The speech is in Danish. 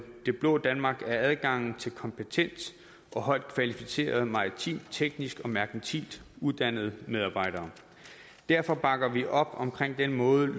det blå danmark er adgangen til kompetent og højt kvalificerede maritimt teknisk og merkantilt uddannede medarbejdere derfor bakker vi op om den måde